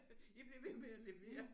I bliver ved med at levere!